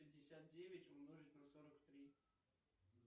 пятьдесят девять умножить на сорок три